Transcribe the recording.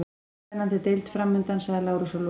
Spennandi deild framundan, sagði Lárus að lokum.